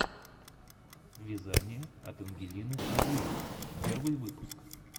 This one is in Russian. вязание от ангелины озимок первый выпуск